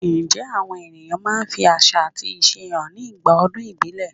Ǹjẹ́ àwọn èèyàn máa ń fi àṣà àti ìṣe hàn nígbà ọdún ìbílẹ̀?